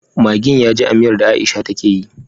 Maggin yaji a miyar da aisha take yi